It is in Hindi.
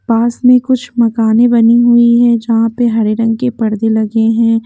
पास में कुछ मकाने बनी हुई हैं जहां पे हरे रंग के पर्दे लगे हैं।